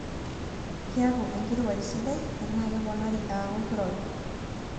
kiaku enkirowaj sidai enaa keponari aaku kirobi